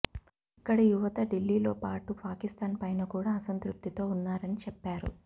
ఇక్కడి యువత ఢిల్లీతో పాటు పాకిస్తాన్ పైన కూడా అసంతృప్తితో ఉన్నారని చెప్పారు